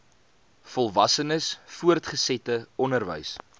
volwassenes voortgesette onderwys